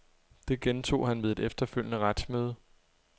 Det gentog han ved et efterfølgende retsmøde.